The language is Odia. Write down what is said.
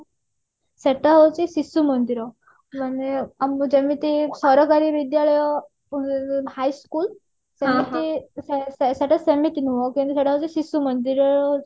ସେଟା ହଉଛି ଶିଶୁ ମନ୍ଦିର ମାନେ ଆମେ ଯେମିତି ସରକାରୀ ବିଦ୍ୟାଳୟ ଉଁ high school ସେମିତି ସେ ସେଟା ସେମିତି ନୁହଁ କାହିଁକି ସେଟା ହଉଛି ଶିଶୁମନ୍ଦିର